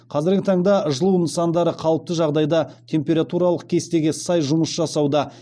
қазіргі таңда жылу нысандары қалыпты жағдайда температуралық кестеге сай жұмыс жасауда